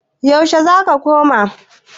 yaushe za ka koma?